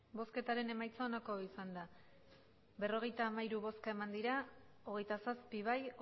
emandako botoak berrogeita hamairu bai hogeita zazpi ez